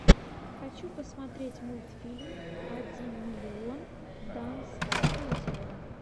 хочу посмотреть мультфильм один миллион данс студио